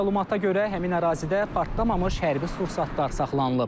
Məlumata görə, həmin ərazidə partlamamış hərbi sursatlar saxlanılıb.